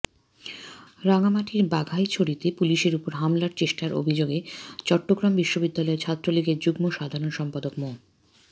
রাঙামাটির বাঘাইছড়িতে পুলিশের ওপর হামলার চেষ্টার অভিযোগে চট্টগ্রাম বিশ্ববিদ্যালয় ছাত্রলীগের যুগ্ম সাধারণ সম্পাদক মো